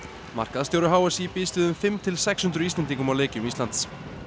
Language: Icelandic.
markaðsstjóri h s í býst við um fimm til sex hundruð Íslendingum á leikjum Íslands